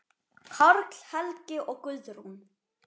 Karl Helgi og Guðrún.